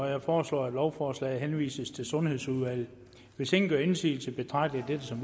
jeg foreslår at lovforslaget henvises til sundhedsudvalget hvis ingen gør indsigelse betragter jeg dette som